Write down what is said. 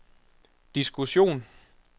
diskussion